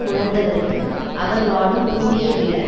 உணர்ந்தவருக்கு அவர் வாழும் பூமியை விட